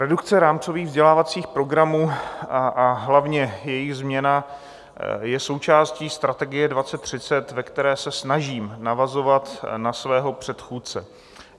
Redukce rámcových vzdělávacích programů a hlavně jejich změna je součástí Strategie 2030, ve které se snažím navazovat na svého předchůdce.